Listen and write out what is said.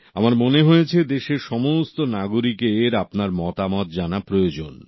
আমার মনে হয়েছে দেশের সমস্ত নাগরিকের আপনার মতামত জানা প্রয়োজন